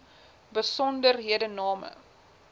besonderhedename